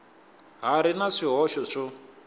ha ri na swihoxo swo